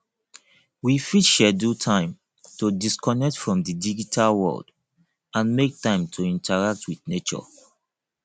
we fit schedule time to disconnect from di digital world and make time to interact with nature